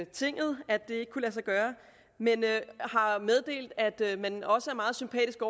tinget at det kunne lade sig gøre men har meddelt at man også er meget sympatisk